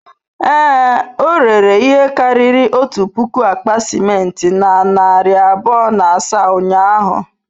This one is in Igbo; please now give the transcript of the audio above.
Ee, o rere ihe karịrị otu puku akpa simenti na narị abụọ na asaa ụnyahụ.